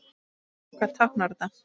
En hvað táknar þetta?